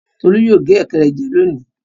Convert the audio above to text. Tolú yóò gé ẹ̀kẹ́ rẹ jẹ lónìí.